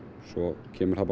svo kemur það